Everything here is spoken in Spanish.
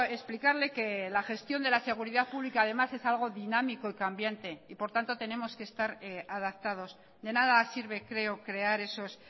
explicarle que la gestión de la seguridad pública además es algo dinámico y cambiante y por tanto tenemos que estar adaptados de nada sirve creo crear esos